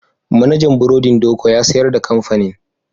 Manajan burodin Doko ya sayar da kamfanin.